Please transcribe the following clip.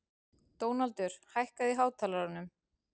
Dónaldur, hækkaðu í hátalaranum.